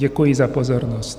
Děkuji za pozornost.